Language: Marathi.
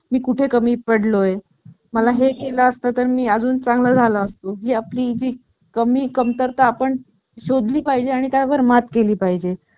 आपण मला मदत करावी थोडी अशी माझी विनंती आहे